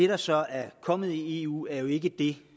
der så er kommet i eu er jo ikke det